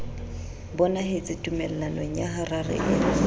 bonahetse tumellanong ya harare eo